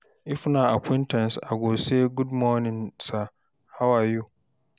if na acquaintance, I go say "gud morning sir, how are you?"